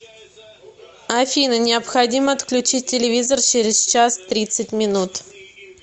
афина необходимо отключить телевизор через час тридцать минут